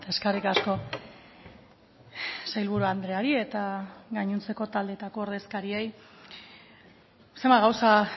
eskerrik asko sailburu andreari eta gainontzeko taldeetako ordezkariei zenbat gauza